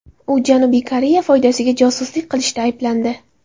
U Janubiy Koreya foydasiga josuslik qilishda ayblandi.